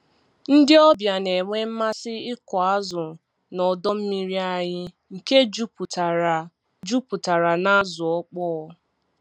Ndị ọbịa na-enwe mmasị ịkụ azụ n'ọdọ mmiri anyị nke juputara juputara n'azụ ọkpọ